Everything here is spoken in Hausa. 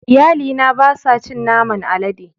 Iyalina ba sa cin naman alade.